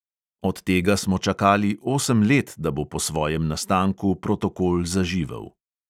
Od tega smo čakali osem let, da bo po svojem nastanku protokol zaživel.